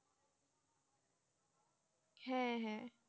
হ্যাঁ হ্যাঁ